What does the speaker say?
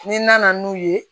N'i nana n'u ye